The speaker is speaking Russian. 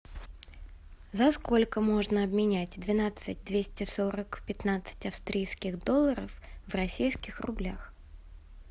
за сколько можно обменять двенадцать двести сорок пятнадцать австрийских долларов в российских рублях